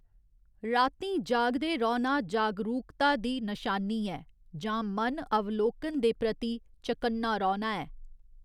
रातीं जागदे रौह्‌‌‌ना जागरूकता दी नशानी ऐ, जां मन अवलोकन दे प्रति चकन्ना रौह्‌‌‌ना ऐ।